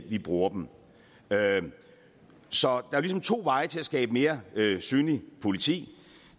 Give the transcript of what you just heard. vi bruger dem så der er ligesom to veje til at skabe et mere synligt politi